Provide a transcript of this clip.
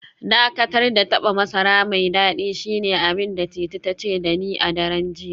Dakatar da taba masara mai dadi shine abin da Titi ta ce da ni a daren jiya